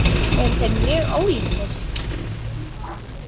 Eru þeir mjög ólíkir?